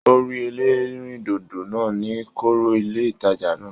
O rí ẹlẹrindodo náà ní kọọrọ ilé ìtàjà náà.